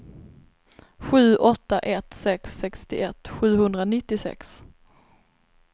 sju åtta ett sex sextioett sjuhundranittiosex